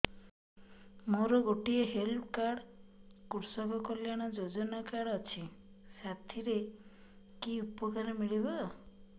ମୋର ଗୋଟିଏ health card କୃଷକ କଲ୍ୟାଣ ଯୋଜନା କାର୍ଡ ଅଛି ସାଥିରେ କି ଉପକାର ମିଳିବ